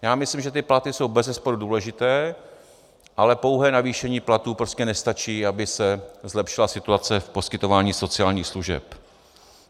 Já myslím, že ty platy jsou bezesporu důležité, ale pouhé navýšení platů prostě nestačí, aby se zlepšila situace v poskytování sociálních služeb.